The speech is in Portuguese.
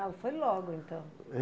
Ah, foi logo, então.